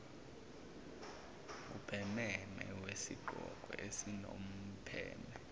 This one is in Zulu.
ubhememe wesigqoko esinompheme